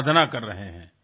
রিপু দমন হ্যাঁস্যার